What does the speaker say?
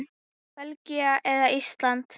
Belgía eða Ísland?